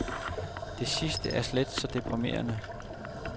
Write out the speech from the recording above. Det sidste er slet så deprimerende.